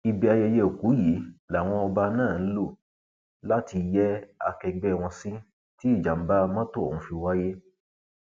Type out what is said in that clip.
ibi ayẹyẹ òkú yìí làwọn ọba náà ń lò láti yẹ akẹgbẹ wọn sí tí ìjàmbá mọtò ọhún fi wáyé